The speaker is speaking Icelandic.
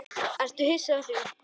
Ertu hissa á því?